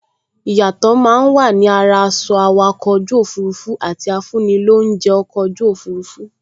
Ìyàtọ̀ máa n wà ni ara aṣọ awakọ̀ ojú òfurufú àti afúnilóunjẹ́ ọkọ̀ ojú òfurufú